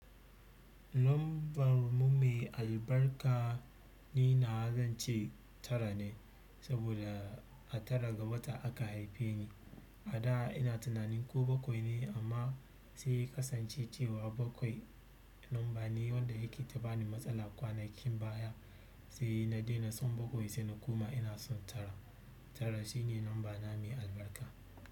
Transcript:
Lambar mu mai albarka, ni na zan ce tara ne, saboda a tara ga wata aka haife ni. A da ina tunanin ko bakwai ne amma sai ya kasance cewa bakwai lamba ne wanda yake ta bani matsala kwanakin baya, sai na dena son bakwai sai na koma ina son tara. Tara shine lamba na mai albarka.